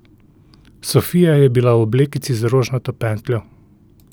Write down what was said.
Sofija je bila v oblekici z rožnato pentljo.